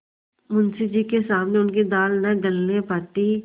मुंशी जी के सामने उनकी दाल न गलने पाती